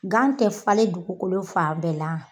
Tɛ falen dugukolo fan bɛɛ la.